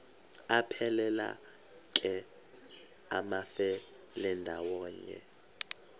aphelela ke amafelandawonye